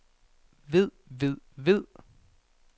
ved ved ved